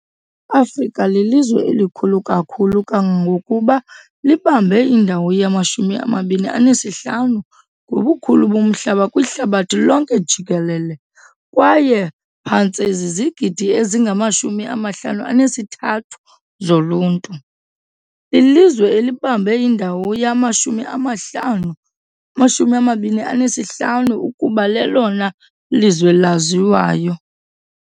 Afrika lilizwe elikhulu kakhulu kangangokuba libambe indawo yama-25 ngobukhulu bomhlaba kwihlabathi lonke jikelele, kwaye phantse zizigidi ezingama-53 zoluntu, lilizwe elibambe indawo yama-25 ukuba lelona lizwe laziwayo.